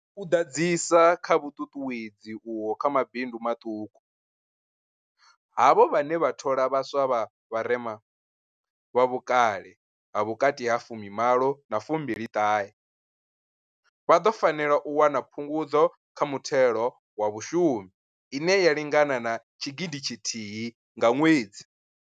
U ḓadzisa kha vhuṱuṱuwedzi uho kha mabindu maṱuku, havho vhane vha thola vhaswa vha vharema, vha vhukale ha vhukati ha fumi malo na fumi ṱahe, vha ḓo fanela u wana Phungudzo kha Muthelo wa Vhashumi ine ya lingana tshigidi tshithihi nga ṅwedzi.